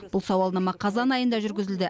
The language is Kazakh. бұл сауалнама қазан айында жүргізілді